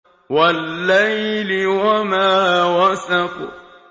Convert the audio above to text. وَاللَّيْلِ وَمَا وَسَقَ